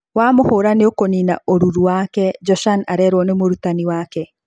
Wamũhũra nĩ ũkũnina ũruru wake, Joshan arerwo nĩ mũrutani wake.